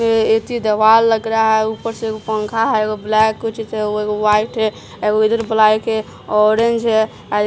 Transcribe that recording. ऐसी दवाल लग रहा है ऊपर से पंखा है ब्लैक कुछ वाइट है इधर ब्लैक है ऑरेंज है।